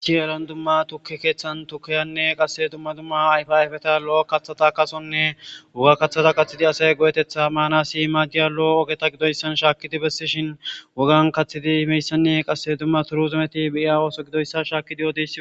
ichiran dumma tuke keeththan tukayanne qasse dumma dumma ayfiayfeta lo7o kathata kasonne woga kaththata kathidi asay go7etetha maana si maa giya lo7o ogeta gidoyssan shaakidi bessishin wogan kaththidi himeyssanne qasse dumma turu zumeti beiya ooso gidoyssa shaakidi yoode